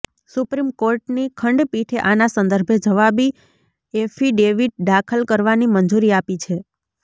supreme કોર્ટની ખંડપીઠે આના સંદર્ભે જવાબી એફિડેવિટ દાખલ કરવાની મંજૂરી આપી છે